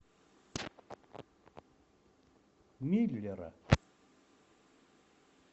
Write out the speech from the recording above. миллера